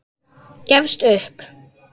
Gefst upp.